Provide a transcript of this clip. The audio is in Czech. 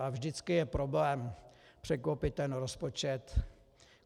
A vždycky je problém překlopit ten rozpočet.